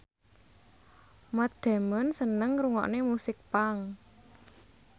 Matt Damon seneng ngrungokne musik punk